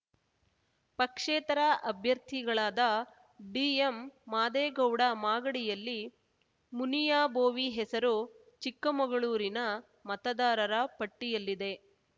ಪಕ್ಷೇತರ ಅಭ್ಯರ್ಥಿಗಳಾದ ಡಿಎಂಮಾದೇಗೌಡ ಮಾಗಡಿಯಲ್ಲಿ ಮುನಿಯಾಬೋವಿ ಹೆಸರು ಚಿಕ್ಕಮಗಳೂರಿನ ಮತದಾರರ ಪಟ್ಟಿಯಲ್ಲಿದೆ